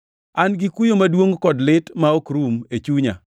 An gi kuyo maduongʼ kod lit ma ok rum e chunya.